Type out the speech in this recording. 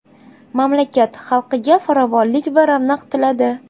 Mamlakat xalqiga farovonlik va ravnaq tiladi.